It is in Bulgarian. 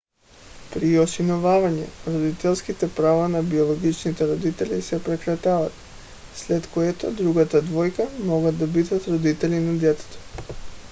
при осиновяване родителските права на биологичните родители се прекратяват след което другата двойка могат да бъдат родители на детето